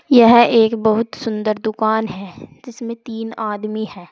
यह एक बहुत सुंदर दुकान है जिसमें तीन आदमी है।